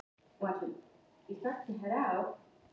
Þegar ég var á Ítalíu fannst mér bestu dómararnir alltaf vera hér.